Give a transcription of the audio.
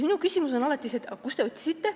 Minu küsimus on alati see, et aga kust te otsisite.